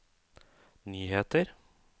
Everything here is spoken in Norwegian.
nyheter